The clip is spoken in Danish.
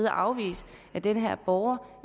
afvise at den her borger